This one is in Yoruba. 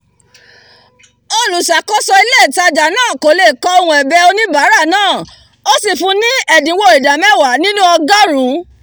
olùṣàkóso ilé ìtajà náà kò lè kọ ohùn ẹ̀bẹ̀ oníbàárà náà o sì fun ni ẹ̀dínwó ìdá mẹ́wàá nínú ọgọ́rùn-ún